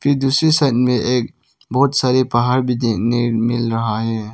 फिर दूसरी साइड में एक बहुत सारी पहाड़ भी देखने को मिल रहा है।